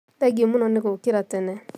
Thengiũmũno nĩ gũũkĩra tene